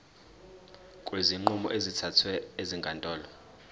kwezinqumo ezithathwe ezinkantolo